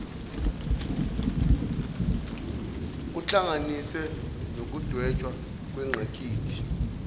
kuhlanganise nokudwetshwa kwengqikithi